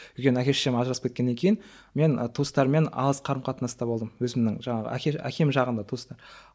өйткені әке шешем ажырасып кеткеннен кейін мен туыстармен алыс қарым қатынаста болдым өзімнің жаңағы әке әкем жағындағы туыстар